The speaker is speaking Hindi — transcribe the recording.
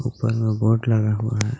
ऊपर में बोर्ड लगा हुआ है।